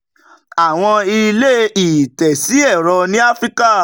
àwọn ilé-ìtẹ̀sí ẹ̀rọ ni áfíríkà